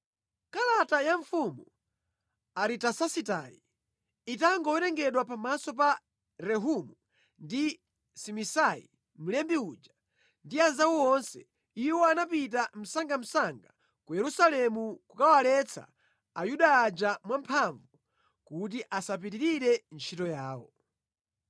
Kalata ya mfumu Aritasasitayi itangowerengedwa pamaso pa Rehumu ndi Simisai mlembi uja, ndi anzawo onse, iwo anapita msangamsanga ku Yerusalemu kukawaletsa Ayuda aja mwamphamvu kuti asapitirire ntchito yawo.